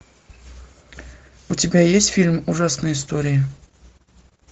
у тебя есть фильм ужасные истории